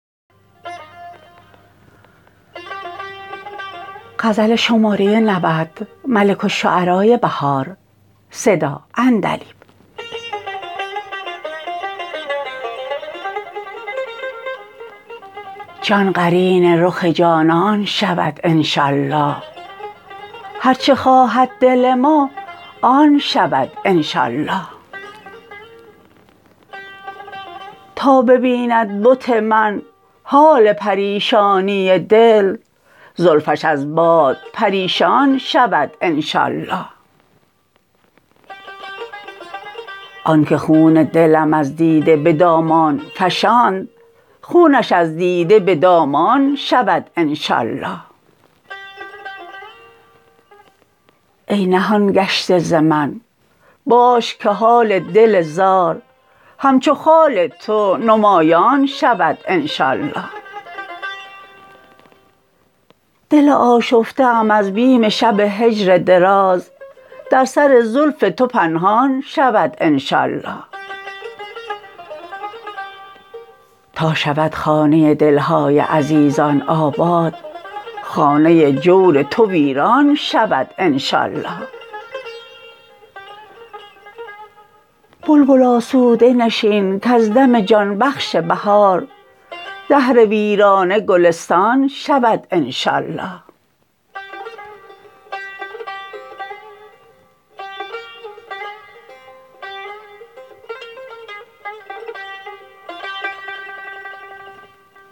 جان قرین رخ جانان شود انشاء الله هرچه خواهد دل ما آن شود انشاء الله تا ببیند بت من حال پریشانی دل زلفش از باد پریشان شود انشاء الله آن که خون دلم از دیده به دامان افشاند خونش از دیده به دامان شود انشاء الله ای نهان گشته ز من باش که حال دل زار همچو خال تو نمایان شود انشاء الله دل آشفته ام از بیم شب هجر دراز در سر زلف تو پنهان شود انشاء الله تا شود خانه دل های عزیزان آباد خانه جور تو ویران شود انشاء الله بلبل آسوده نشین کز دم جان بخش بهار دهر ویرانه گلستان شود انشاء الله